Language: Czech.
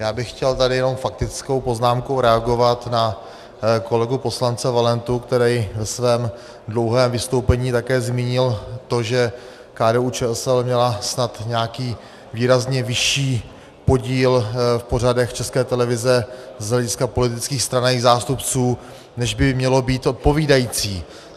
Já bych chtěl tady jenom faktickou poznámkou reagovat na kolegu poslance Valentu, který ve svém dlouhém vystoupení také zmínil to, že KDU-ČSL měla snad nějaký výrazně vyšší podíl v pořadech České televize z hlediska politických stran a jejích zástupců, než by mělo být odpovídající.